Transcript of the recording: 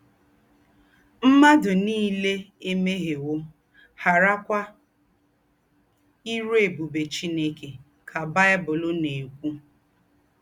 “M̀màdù nílé èmèhièwò, ghàrákwà írú ébùbè Chineke,” ká Bible nà-èkwú.